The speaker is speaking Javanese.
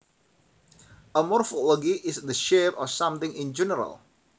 A morphology is the shape of something in general